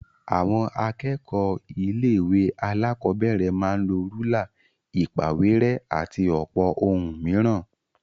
Àwọn akẹ́kọ̀ọ́ ilé-ìwé alákọ̀ọ́bẹ̀rẹ̀ máa ń lọ rúlà, ìpàwérẹ́, àti ọ̀pọ̀ ohun mìíràn.